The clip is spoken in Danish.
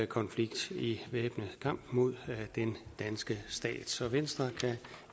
konflikt i væbnet kamp mod den danske stat så venstre kan